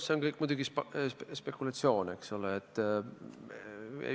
See on kõik muidugi spekulatsioon, eks ole.